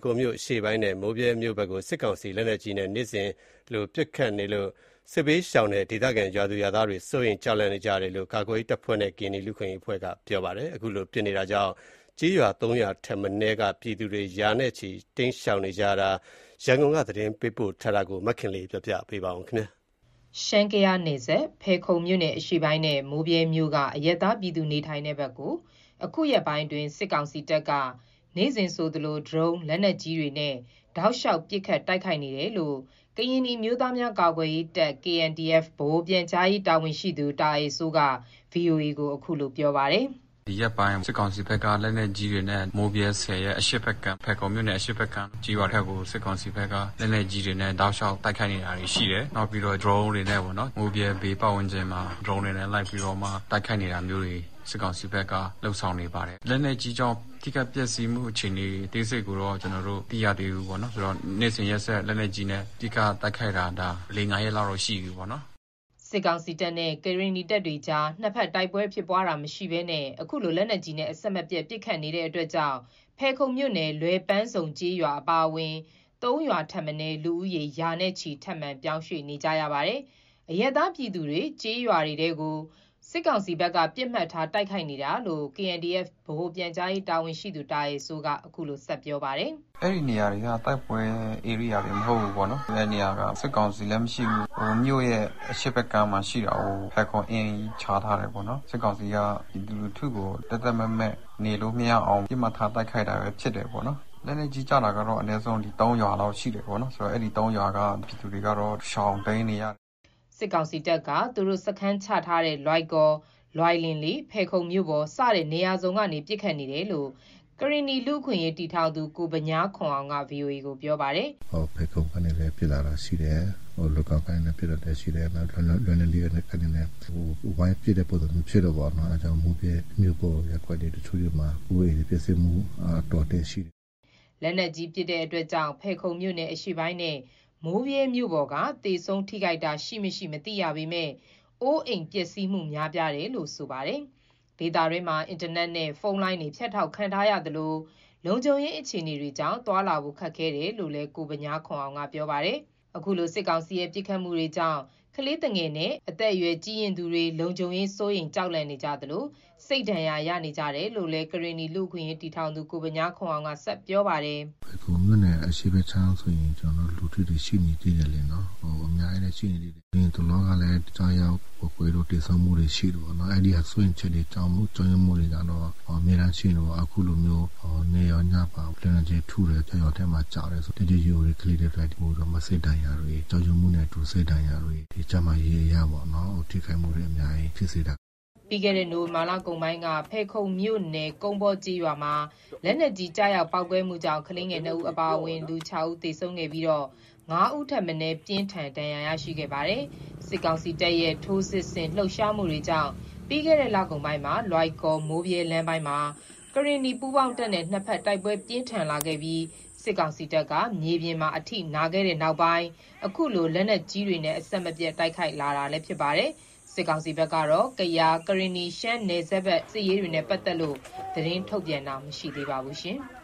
ခုံမြို့နယ်အရှေ့ပိုင်းနဲ့ မိုးဗြဲမြို့ဘက်ကို စစ်ကောင်စီက လက်နက်ကြီးနဲ့ နေ့စဉ်ပစ်ခတ်တိုက်ခိုက်နေလို့ စစ်ဘေး ရှောင်ပြည်သူတွေနဲ့ ဒေသခံရွာသူရွာသားတွေ စိုးရိမ်ကြောက်လန့်နေကြတယ်လို့ ကာကွယ်ရေးတပ်ဖွဲ့နဲ့ ကရင်နီလူ့အခွင့်အရေးအဖွဲ့က ဗွီအိုအေကို ပြောပါတယ်။ အခုလို လက်နက်ကြီးနဲ့ အဆက်မပြတ်ပစ်ခတ်နေတာကြောင့် ကျေးရွာ ၃ရွာထက် မနည်းက ပြည်သူ ရာနဲ့ချီ ဘေးလွတ်ရာ ရွှေ့ပြောင်းနေကြရပါတယ်။ ရန်ကုန်က သတင်းပေးပို့ထားပါတယ်။ ရှမ်း-ကယားနယ်စပ် ဖယ်ခုံမြို့နယ်အရှေ့ပိုင်းနဲ့ မိုးဗြဲမြို့ က အရပ်သားပြည်သူ နေထိုင်တဲ့ဘက်ကို အခုရက်ပိုင်းအတွင်း စစ်ကောင်စီတပ်က နေ့စဉ်ဆိုသလို ဒရုန်း၊ လက်နက်ကြီးတွေနဲ့ တောက်လျှောက် ပစ်ခတ်တိုက်ခိုက်နေတယ်လို့ ကရင်နီအမျိုးသားများကာကွယ်ရေးတပ် ဗဟိုပြန်ကြားရေး တာဝန်ရှိသူ တာအယ်စိုးက ဗွီအိုအေကို ခုလို ပြောပါတယ်။ “ဒီရက်ပိုင်း စစ်ကောင်စီဘက်က လက်နက်ကြီးတွေနဲ့ မိုးဗြဲဆည်ရဲ့ အရှေ့ဖက်ကမ်း၊ ကျေးရွာဖက်ကို စစ်ကောင်စီဖက်က လက်နက်ကြီးတွေနဲ့ တောက်လျှောက်တိုက်ခိုက် နေတာရှိတယ်။ နောက်ပြီးတော့ ဒရုန်းတွေနဲ့ပေါ့၊ မိုးဗြဲ ဘေးပတ်ဝန်းကျင်မှာ ဒရုန်းတွေနဲ့ လက်ပြီးမှ တိုက်ခိုက်နေတာမျိုးတွေ စစ်ကောင်စီဘက်က လုပ်ဆောင်နေတယ်။ လက်နက်ကြီးကြောင့် ထိခိုက်ပျက်စီးမှု အခြေအနေအသေးစိတ်ကိုတော့ ကျနော်တို့ မသိရသေးဘူးပေါ့နော်။ ဆိုတော့ နေ့စဉ်ရက်ဆက် လက်နက်ကြီးနဲ့ အဓိက တိုက်ခိုက်တာ ၄-၅ ရက်လောက်တော့ ရှိပြီးပေါ့နော်။” စစ်ကောင်စီတပ်နဲ့ ကရင်နီတပ်တွေကြား နှစ်ဘက် တိုက်ပွဲဖြစ်ပွားတာမရှိဘဲ အခုလို လက်နက်ကြီးနဲ့ အဆက်မပြတ်ပစ်ခတ်နေတာကြောင့် ဖယ်ခုံမြို့နယ် လွယ်ပန်းစုံကျေးရွာ အပါအဝင် ၃ရွာထက်မနည်း လူဦးရေ ရာချီ ထပ်မံရွှေ့ပြောင်းနေကြရပါတယ်။ အရပ်သားပြည်သူတွေ ကျေးရွာတွေထဲကို စစ်ကောင်စီဘက်က ပစ်မှတ်ထား တိုက်ခိုက်နေတာလို့ KNDF ဗဟိုပြန်ကြားရေး တာဝန်ရှိသူ တာအယ်စိုးက ဆက်ပြောပါတယ်။ “အဲ့ဒီနေရာတွေက တိုက်ပွဲဧရိယာလည်းမဟုတ်ဘူးပေါ့နော်။ အဲ့နေရာက စစ်ကောင်စီလည်းမရှိဘူး။ မြို့ရဲ့ အရှေ့ဘက်ကမ်းမှာ ရှိတာကို ဖယ်ခုံအင်းကြီး ခြားထားတယ်ပေါ့နော်။ စစ်ကောင်စီက ပြည်သူလူထုကို သက်သက်မဲ့ နေလို့မရအောင် ပစ်မှတ်ထား တိုက်ခိုက်တာပဲ ဖြစ်တယ်ပေါ့နော်။ လက်နက်ကြီးကျတာကတော့ အနည်းဆုံး ၃ရွာလောက်ရှိတယ်ပေါ့နော်၊ အဲ့ဒီ ၃ရွာက ပြည်သူတွေကတော့ ရှောင်တိမ်းနေရတယ်။” စစ်ကောင်စီတပ်က သူတို့စခန်းချထားတဲ့ လွိုင်ကော်၊ လွိုင်လင်လေး ဖယ်ခုံမြို့ပေါ် စတဲ့နေရာစုံက ပစ်ခတ်နေတာလို့ ကရင်နီလူ့အခွင့်အရေးတည်ထောင်သူ ကိုဗညားခွန်အောင်က ဗွီအိုအေကို ပြောပါတယ်။ “ဖယ်ခုံကနေ ပစ်လာတာရှိတယ်။ လွိုင်ကော်ကနေ ပစ်လာတာရှိတယ်။ နောက် လွိုင်လင်လေးဖက်နေလည်း ဝိုင်းပစ်တဲ့ ပုံစံမျိုးဖြစ်တာပေါ့နော်။ အဲ့ကြောင့်မို့ မိုးဗြဲမြို့ရပ်ကွက် တချို့တွေမှာ အိုးအိမ်ပျက်စီးမှု အတော်အသင့်ရှိတယ်။” လက်နက်ကြီးပစ်တာကြောင့် ဖယ်ခုံမြို့နယ် အရှေ့ပိုင်းနဲ့ မိုးဗြဲမြို့ပေါ်က သေဆုံးထိခိုက်တာရှိမရှိ မသိရပေမယ့် အိုးအိမ်ပျက်စီးမှု များပြားတယ်လို့ ဆိုပါတယ်။ ဒေသတွင်းမှာ အင်တာနက်လိုင်း ဖုန်းနဲ့ ပြတ်တောက်ခံထားရသလို လုံခြုံရေးအခြေအနေကြောင့် သွားလာဖို့ ခက်ခဲတယ်လို့ ကိုဗညားခွန်အောင်က ပြောပါတယ်။ အခုလိုစစ်ကောင်စီရဲ့ပစ်ခတ်မှုတွေကြောင့် ကလေးသူငယ်နဲ့ အသက်အရွယ်ကြီးရင့်သူတွေ လုံခြုံရေး စိုးရိမ်ကြောက်လန့်နေသလို စိတ်ဒဏ်ရာလည်း ရနေကြတယ်လို့ ကရင်နီလူ့အခွင့်အရေးတည်ထောင်သူ ကိုဗညားခွန်အောင်က ဆက်ပြောတယ်။ “ဖက်ခုံအရှေ့ဖက်ခြမ်းဆိုရင် လူထုတွေ ရှိနေသေးတယ်လေနော်။ အများကြီးရှိနေသေးတယ်။ အရင်တလောကလည်း ကျရောက်ပေါက်ကွဲတော့ သေဆုံးမှုတွေ ရှိတယ်ပေါ့နော်။ အဲ့ဒီဟာ စိုးရိမ်ချက်တွေ ကြောက်ရွံ့မှုတွေကတော့ နေ့တိုင်းရှိနေတယ်ပေါ့။ အခုလိုမျိုး နေ့ရောညပါ လက်နက်ကြီးထုတယ်၊ ရွာထဲမှာ ကျတယ်ဆိုတော့ အသက်ကြီးရွယ်အိုတွေ ကလေးတွေက ပိုပြီးမှ စိတ်ဒဏ်ရာ ကြောက်ရွံ့မှုနဲ့အတူ စိတ်ဒဏ်ရာတွေ ဒီကျန်းမာရေးအရပေါ့နော် ထိခိုက်မှုတွေ အများကြီးဖြစ်စေတာ။” ပြီးတဲ့ နိုဝင်ဘာလကုန်ပိုင်းက ဖယ်ခုံမြို့နယ် ကုန်းပေါကျေးရွာမှာ လက်နက်ကြီးကျရောက် ပေါက်ကွဲမှုကြောင့် ကလေးငယ် ၂ဦးအပါအဝင် ၆ဦး သေဆုံးခဲ့ပြီး ၅ဦးထက်မနည်း ပြင်းထန်ဒဏ်ရာရရှိခဲ့ပါတယ်။ စစ်ကောင်စီတပ်ရဲ့ ထိုးစစ်ဆင် လှုပ်ရှားမှုကြောင့် ပြီးခဲ့တဲ့လကုန်ပိုင်းမှာ လွိုင်ကော်-မိုးဗြဲလမ်းပိုင်းမှာ ကရင်နီပူးပေါင်းတပ်နဲ့ နှစ်ဖက်တိုက်ပွဲပြင်းထန်လာခဲ့ပြီး စစ်ကောင်စီတပ်က မြေပြင်မှာ အထိနာခဲ့တဲ့နောက် အခုလို လက်နက်ကြ ီးတွေနဲ့ အဆက်မပြတ်တိုက်ခိုက်လာနေတာဖြစ်ပါတယ်။ စစ်ကောင်စီဘက်ကတော့ ကယား ကရင်နီ-ရှမ်းနယ်စပ်ဘက်က စစ်ရေးတွေနဲ့ပတ်သက်လို့ သတင်းထုတ်ပြန်တာမရှိသေးပါဘူး။